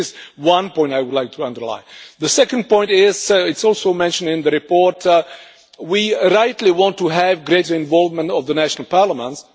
So this is one point I would like to underline. The second point is and this is also mentioned in the report that we rightly want to have greater involvement of the national parliaments.